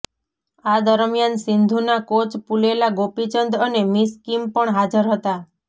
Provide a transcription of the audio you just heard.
આ દરમિયાન સિંધુના કોચ પુલેલા ગોપીચંદ અને મિસ કિમ પણ હાજર હતા